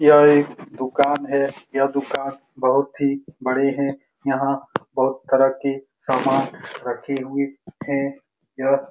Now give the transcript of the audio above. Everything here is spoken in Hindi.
यह एक दूकान है यह दूकान बहुत ही बड़े है यहाँ बहुत तरह के समान रखे हुए हैं यह --